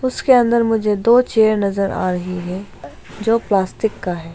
उसके अंदर मुझे दो चेयर नजर आ रही हैं जो प्लास्टिक का है।